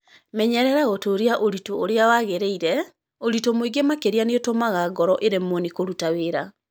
Menyerera gũtũũria ũritũ ũrĩa wagĩrĩire, Ũritũ mũingĩ makĩria nĩ ũtũmaga ngoro ĩremwo nĩ kũruta wĩra.